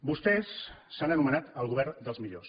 vostès s’han anomenat el govern dels millors